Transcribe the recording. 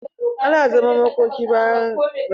Ana zaman makoki bayan an yi rasuwa.